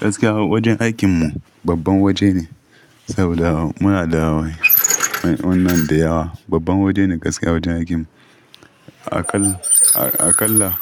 Gaskiya wajen aikin mu babban waje ne, saboda muna da wayan wannan da yawa. Babban waje ne gaskiya wajen aikin mu. Akalla, akalla